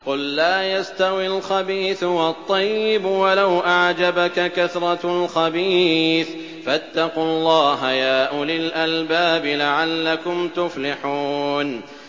قُل لَّا يَسْتَوِي الْخَبِيثُ وَالطَّيِّبُ وَلَوْ أَعْجَبَكَ كَثْرَةُ الْخَبِيثِ ۚ فَاتَّقُوا اللَّهَ يَا أُولِي الْأَلْبَابِ لَعَلَّكُمْ تُفْلِحُونَ